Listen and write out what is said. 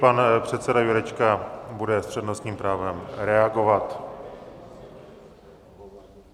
Pan předseda Jurečka bude s přednostním právem reagovat.